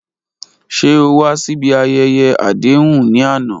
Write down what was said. Ṣe o wa si ibi ayẹyẹ adehun ni ana?